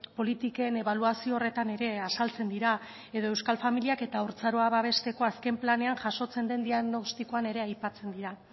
politiken ebaluazio horretan ere azaltzen dira edo euskal familiak eta haurtzaroa babesteko azken planean jasotzen den diagnostikoan ere aipatzen dira